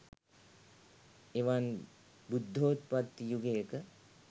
එවන් බුද්ධෝත්පත්ති යුගයක